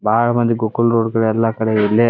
ನಾನ್ ಒಂದು ಎಲ್ಲಾ ಕಡೆ ಇಲ್ಲೇ--